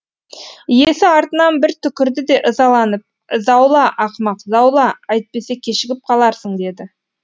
иесі артынан бір түкірді де ызаланып заула ақымақ заула әйтпесе кешігіп қаларсың деді